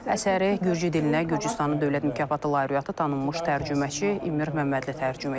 Əsəri Gürcü dilinə Gürcüstanın dövlət mükafatı lauriyatı tanınmış tərcüməçi İmır Məmmədli tərcümə edib.